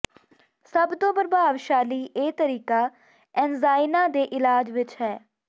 ਸਭ ਤੋਂ ਪ੍ਰਭਾਵਸ਼ਾਲੀ ਇਹ ਤਰੀਕਾ ਐਨਜਾਈਨਾ ਦੇ ਇਲਾਜ ਵਿੱਚ ਹੈ